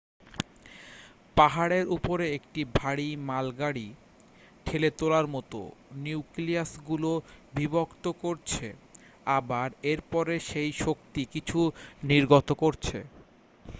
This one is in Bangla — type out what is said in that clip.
পাহাড়ের উপরে একটি ভারী মালগাড়ি ঠেলে তোলার মত নিউক্লিয়াসগুলো বিভক্ত করছে আবার এরপরে সেই শক্তি কিছু নির্গত করছে